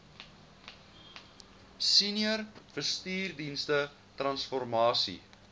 senior bestuursdienste transformasie